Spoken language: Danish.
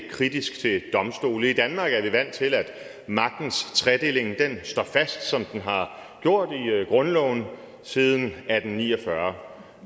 kritisk til domstole i danmark er vi vant til at magtens tredeling står fast som den har gjort i grundloven siden atten ni og fyrre